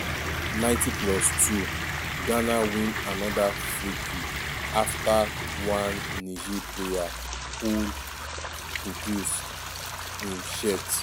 90+2"ghana win anoda freekick afta one niger player pull kudus im shirt.